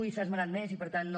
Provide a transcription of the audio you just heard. i s’ha esmentat més i per tant no